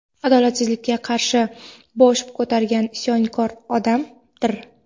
adolatsizlikka qarshi bosh ko‘targan isyonkor odamdir.